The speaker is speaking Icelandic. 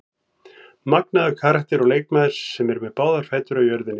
Magnaður karakter og leikmaður sem er með báðar fætur á jörðinni.